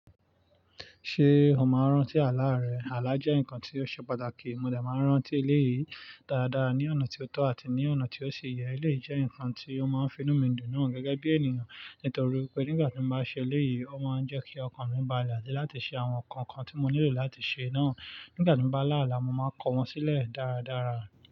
Ṣé o máa ń rántí àlá rẹ? Àlá jẹ́ nǹkan tí ó ṣe pàtàkì. Mo dẹ máa ń rántí eleyìí dáadáa ní ọ̀nà tí ó tọ́ àti ní ọ̀nà tí ó si yẹ. Eleyi jẹ́ nǹkan tí ó máa ń finú mi dùn naa gẹ́gẹ́ bí ènìyàn, nítorí pé nígbà tí mo bá ṣe eleyìí, ó máa ń jẹ́ kí ọkàn mi balẹ̀ àti láti ṣe àwọn nǹkan kan tí mo nílò láti ṣe náà. Nígbà tí mo bá là ála, mo máa n kọ wọ́n sílẹ̀ dáradára.